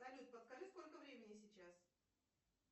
салют подскажи сколько времени сейчас